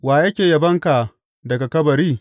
Wa ke yabonka daga kabari?